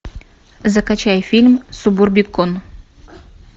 закачай фильм субурбикон